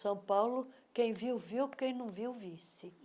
São Paulo, quem viu, viu, quem não viu, visse.